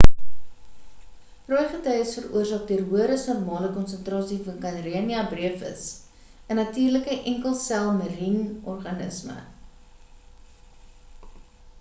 rooi gety is veroorsaak deur hoër as normale konsentrasie van karenia brevis 'n natuurlike enkel sel marien organisme